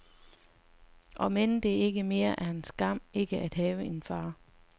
Omend det ikke mere er en skam ikke at have en far.